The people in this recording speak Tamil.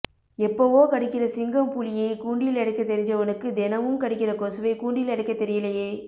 எப்பவோ கடிக்கிற சிங்கம் புலியை கூண்டில் அடைக்க தெரிஞ்சவனுக்கு தெனமும் கடிக்கிற கொசுவை கூண்டில் அடைக்கத் தெரியலையே